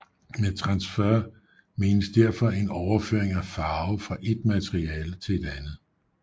Med transfer menes derfor en overføring af farve fra et materiale til et andet